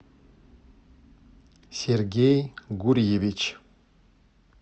сергей гурьевич